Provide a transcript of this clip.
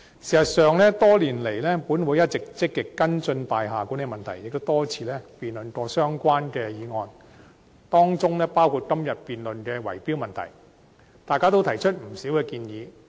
事實上，本會多年來一直積極跟進大廈管理問題，也多次辯論相關議案，當中包括今日辯論的圍標問題，大家都提出不少建議。